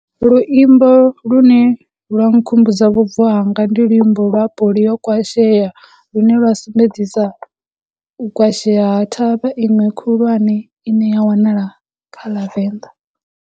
Luimbo lune lwa nkhumbudza vhubvo hanga ndi luimbo lwa yo kwasheya, lune lwa sumbedzisa u kwasheya ha thavha iṅwe khulwane i ne ya wanala kha ḽa Venḓa.